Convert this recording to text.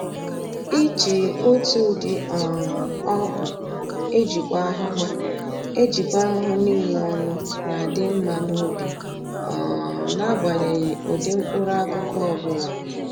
Iji otu ụdị um ọgwụ ejikwa ahụhụ ejikwa ahụhụ niile ọnụ na-adị mma n'ubi um n'agbanyeghị ụdị mkpụrụ akụkụ ọbụla